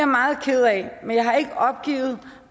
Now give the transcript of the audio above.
meget ked af men jeg har ikke opgivet